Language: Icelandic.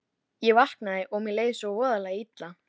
Ég vaknaði og mér leið svo voðalega illa.